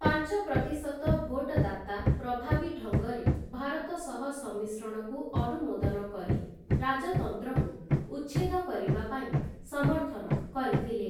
ପାଞ୍ଚ ପ୍ରତିଶତ ଭୋଟଦାତା ପ୍ରଭାବୀ ଢଙ୍ଗରେ ଭାରତ ସହ ସମ୍ମିଶ୍ରଣକୁ ଅନୁମୋଦନ କରି ରାଜତନ୍ତ୍ରକୁ ଉଚ୍ଛେଦ କରିବା ପାଇଁ ସମର୍ଥନ କରିଥିଲେ ।